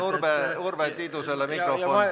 Palun Urve Tiidusele mikrofon!